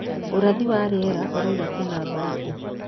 ũrathi wa rĩera ũrauga kwĩna mbarabu?